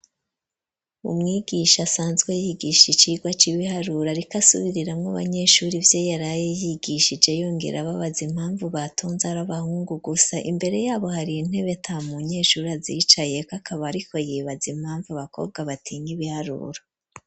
Umwigisha, asanzwe yigisha, icigwa c'ibiharuro; ariko asubiriramwo abanyeshuri, ivyo yaraye yigishije, yongera ababaza, impamvu batonze, ari abahungu gusa; imbere y'abo, hariyo intebe, ata munyeshure, azicayeko; akaba ariko yibaza, impamvu abakobwa, batinya ibiharuro.